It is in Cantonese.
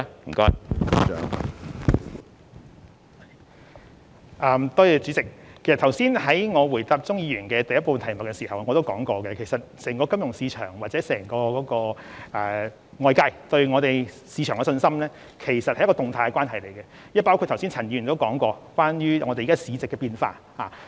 我剛才在回應鍾議員質詢第一部分時已指出，整體金融市場及外界對本地市場的信心，其實是一種動態的關係，這亦包括了陳議員剛才所指出的市值變化。